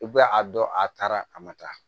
I bɛ a dɔn a taara a ma taa